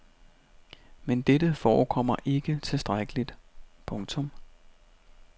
Men dette forekommer ikke tilstrækkeligt. punktum